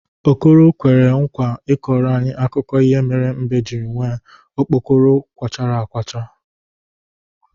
Okoro kwere nkwa ịkọrọ anyị akụkọ ihe mere mbe jiri nwee okpokoro kawachara akawa.